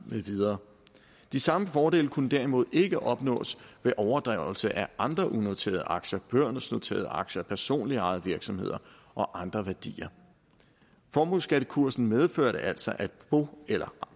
med videre de samme fordele kunne derimod ikke opnås ved overdragelse af andre unoterede aktier børsnoterede aktier personligt ejede virksomhed og andre værdier formueskattekursen medførte altså at bo eller